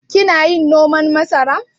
Kina yin noman masara?